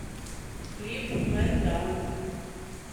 клип мэн даун